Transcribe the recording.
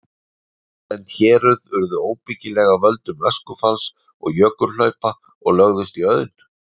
Víðlend héruð urðu óbyggileg af völdum öskufalls og jökulhlaupa og lögðust í auðn.